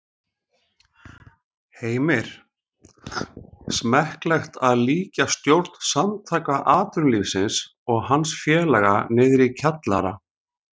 Heimir: Smekklegt að líkja stjórn Samtaka atvinnulífsins og hans félaga niðri í kjallara?